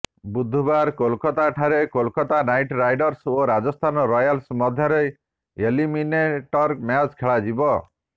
ବୁଧବାର କୋଲକାତା ଠାରେ Kolkata Knight Riders ଓ ରାଜସ୍ଥାନ ରୟାଲ୍ସ ମଧ୍ୟରେ ଏଲିମିନେଟର୍ ମ୍ୟାଚ୍ ଖେଳାଯିବ